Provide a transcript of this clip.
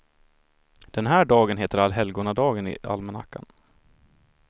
Den här dagen heter allhelgonadagen i almanackan.